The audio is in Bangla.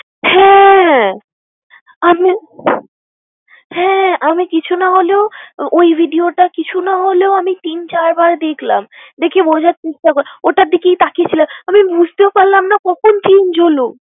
হ্যাঁ আমিও~, হ্যাঁ আমি কিছু না হলেও ওই video টা কিছু না হলেও আমি তিন চারবার দেখলাম। দেখে বোঝার চেষ্টা করলাম, ওটার দিকেই তাকিয়ে ছিলাম। আমি বুঝতেও পারলাম না কখন change হলো।